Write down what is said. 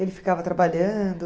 Ele ficava trabalhando?